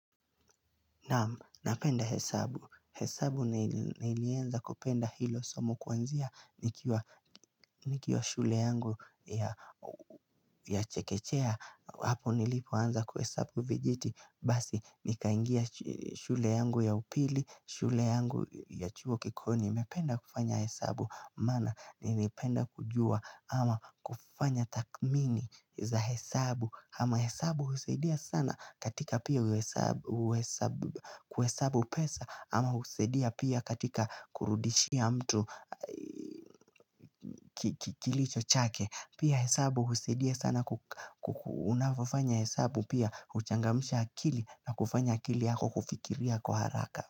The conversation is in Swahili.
Napenda hesabu. Hesabu nilianza kupenda hilo somo kuanzia nikiwa shule yangu ya chekechea. Hapo nilipoanza kuhesabu vijiti. Basi nikaingia shule yangu ya upili, shule yangu ya chuo kikuu. Nimependa kufanya hesabu maana nimependa kujua ama kufanya takmini za hesabu ama hesabu husidia sana katika pia kuhesabu pesa ama husaidia pia katika kurudishia mtu kilicho chake. Pia hesabu husidia sana unapofanya hesabu pia huchangamsha akili na kufanya akili yako kufikiria kwa haraka.